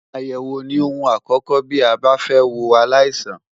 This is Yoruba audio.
Àyẹ̀wò ni ohun àkókò bí a bá fẹ́ wo aláìsàn.